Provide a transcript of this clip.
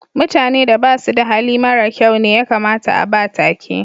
Mutane da basu da Hali mara kyau ne ya kamata a'ba take.